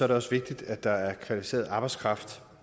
det også vigtigt at der er kvalificeret arbejdskraft